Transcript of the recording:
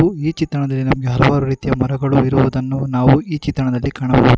ಈ ಚಿತ್ರಣದಲ್ಲಿ ರುವುದನ್ನು ನಾವು ಈ ಚಿತ್ರಣದಲ್ಲಿ ಕಾಣಬಹುದು.